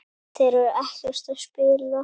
Þeir eru ekkert að spila?